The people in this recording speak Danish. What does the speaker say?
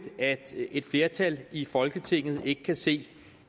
at et flertal i folketinget ikke kan se